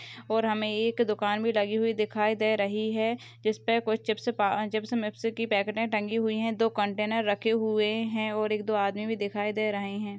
और हमें एक दुकान भी लगी हुई दिखाई दे रही है जिसपे कुछ चिप्स पा चिप्स मिप्स की पैकेटे टंगी हुई है दो कंटेनर रखे हुए है और एक दो आदमी भी दिखाई दे रहे हैं।